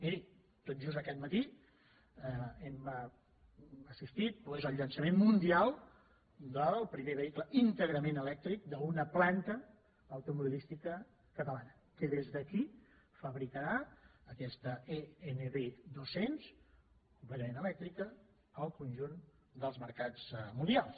miri tot just aquest matí hem assistit al llançament mundial del primer vehicle íntegrament elèctric d’una planta automobilística catalana que des d’aquí fabricarà aquesta e nv200 completament elèctrica al conjunt dels mercats mundials